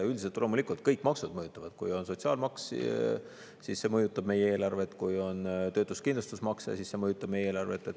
Üldiselt loomulikult kõik maksud mõjutavad: kui on sotsiaalmaks, siis see mõjutab meie eelarvet, kui on töötuskindlustusmakse, siis see mõjutab meie eelarvet.